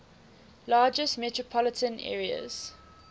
largest metropolitan areas